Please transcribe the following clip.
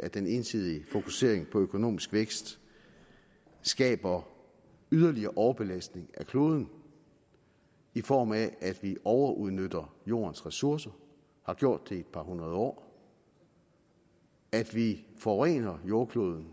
at den ensidige fokusering på økonomisk vækst skaber yderligere overbelastning af kloden i form af at vi overudnytter jordens ressourcer har gjort det i et par hundrede år at vi forurener jordkloden